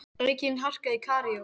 Aukin harka í Kaíró